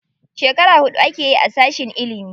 Shekara huɗu akeyi a sashin ilimi.